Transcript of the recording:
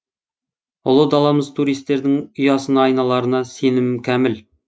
ұлы даламыз туристердің ұясына айналарына сенімім кәміл